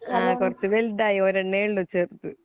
കുറച്ചു വലുതായി ഒരെണ്ണെയുള്ളു ചെറുത്